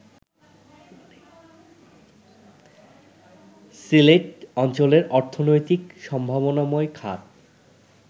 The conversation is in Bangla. সিলেট অঞ্চলের অর্থনৈতিক সম্ভাবনাময় খাত